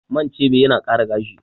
Man chebe yana ƙara gashi